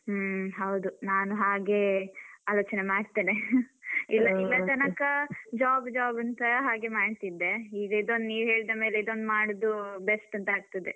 ಹ್ಮ್ ಹೌದು. ನಾನು ಹಾಗೆ ಆಲೋಚನೆ ಮಾಡ್ತೆನೆ ಇಲ್ಲದ್ರೆ ಇಲ್ಲತನಕ job job ಅಂತ ಹಾಗೆ ಮಾಡ್ತಿದ್ದೆ ಈಗ ಇದೊಂದ್ ನೀವ್ ಹೇಳಿದ ಮೇಲೆ ಇದೊಂದು ಮಾಡುದು best ಅಂತ ಆಗ್ತದೆ.